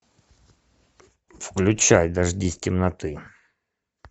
включай дождись темноты